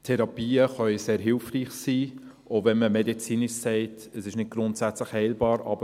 Therapien können sehr hilfreich sein, auch wenn man medizinisch sagt, dass es nicht grundsätzlich heilbar ist.